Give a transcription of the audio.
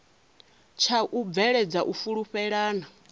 tsha u bveledza u fhulufhelana